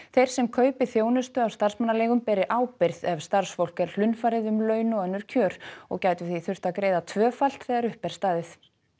þeir sem kaupi þjónustu af starfsmannaleigum beri ábyrgð ef starfsfólk er hlunnfarið um laun og önnur kjör og gætu því þurft að greiða tvöfalt þegar upp er staðið